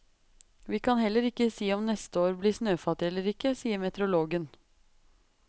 Vi kan heller ikke si om neste år bli snøfattig eller ikke, sier meteorologen.